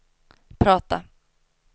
prata